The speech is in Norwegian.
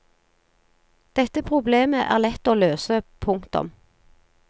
Dette problemet er lett å løse. punktum